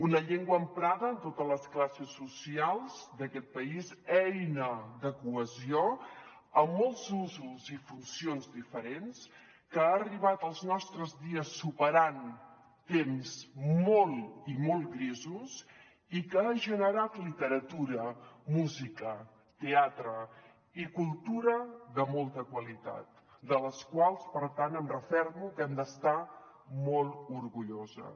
una llengua emprada en totes les classes socials d’aquest país eina de cohesió amb molts usos i funcions diferents que ha arribat als nostres dies superant temps molt i molt grisos i que ha generat literatura música teatre i cultura de molta qualitat de la qual cosa per tant em refermo que hem d’estar molt orgulloses